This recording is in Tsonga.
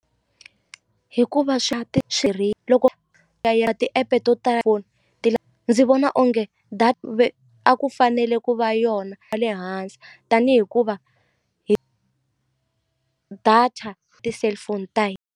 Hikuva swa ti loko swi ti-app to ndzi vona onge a ku fanele ku va yona wa le hansi tanihi hikuva hi data ti-cellphone ta .